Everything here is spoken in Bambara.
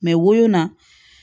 woyo na